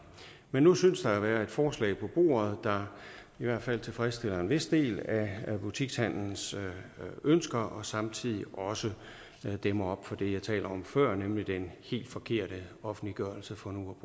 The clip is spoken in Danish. men nu synes der at være et forslag på bordet der i hvert fald tilfredsstiller en vis del af butikshandlens ønsker og samtidig også dæmmer op for det jeg talte om før nemlig den helt forkerte offentliggørelse for nu